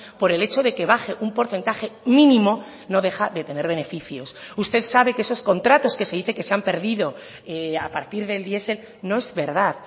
por el hecho de que baje un porcentaje mínimo no deja de tener beneficios usted sabe que esos contratos que se dice que se han perdido a partir del diesel no es verdad